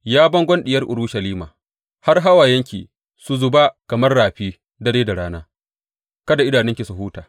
Ya bangon Diyar Urushalima, bar hawayenki su zuba kamar rafi dare da rana; kada ki huta, kada idanunki su huta.